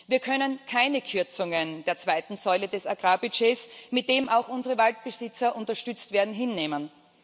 Wir können keine Kürzungen der zweiten Säule des Agrarbudgets, mit dem auch unsere Waldbesitzer unterstützt werden, hinnehmen.